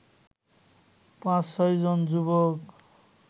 ৫-৬জন যুবক